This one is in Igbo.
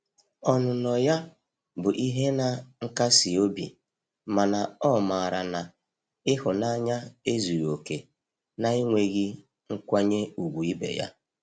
Ọnụnọ ya bụ ihe na nkasi obi mana o mara na ihunanya ezughi oke na-enweghi nkwanye ugwu ibe ya.